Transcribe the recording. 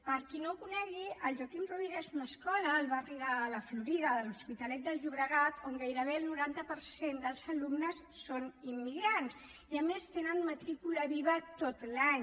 per qui no la conegui la joaquim ruyra és una escola al barri de la florida de l’hospitalet de llobregat on gairebé el noranta per cent dels alumnes són immigrants i a més tenen matrícula viva tot l’any